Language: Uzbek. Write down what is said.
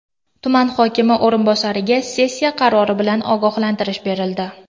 Tuman hokimi o‘rinbosariga sessiya qarori bilan ogohlantirish berildi.